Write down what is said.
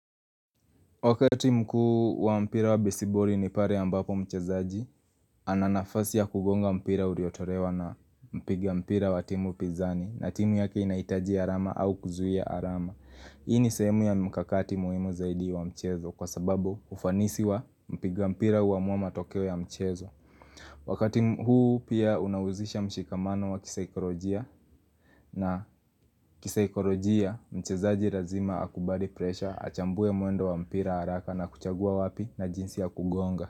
Wakati mkuu wa mpira wa besibori ni pare ya ambapo mchezaji, ananafasi ya kugonga mpira uriotorewa na mpiga mpira wa timu pizani na timu yake inaitaji arama au kuzuhia arama. Hii ni sehemu ya mkakati muhimu zaidi wa mchezo kwa sababu ufanisi wa mpiga mpira wa huamua matokeo ya mchezo. Wakati huu pia unawuzisha mshikamano wa kiseikorojia na kiseikorojia mchezaji razima akubali presha achambue muendo wa mpira haraka na kuchagua wapi na jinsi ya kugonga.